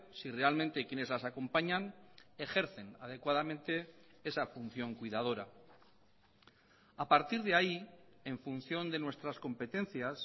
si realmente quienes las acompañan ejercen adecuadamente esa función cuidadora a partir de ahí en función de nuestras competencias